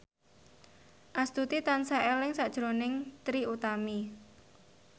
Astuti tansah eling sakjroning Trie Utami